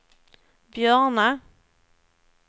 Björna